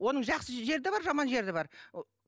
оның жақсы жері де бар жаман жері де бар